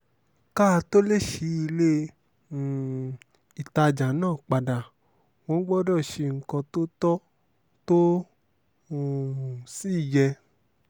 ká a tóó lè ṣí ilé um ìtajà náà padà wọ́n gbọ́dọ̀ ṣe nǹkan tó tọ́ tó um sì yẹ